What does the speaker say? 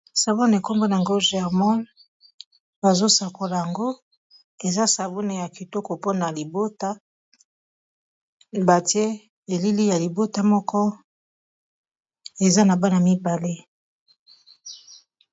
savion enkombo na ngoe germon bazosakola yango eza sabune ya kitoko mpona libota batie elili ya libota moko eza na bana mibale